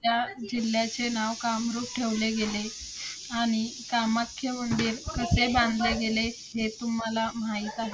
त्या जिल्ह्याचे नाव कामरूप ठेवले गेले. आणि कामाख्या मंदिर कसे बांधले गेले, हे तुम्हाला माहित आहे?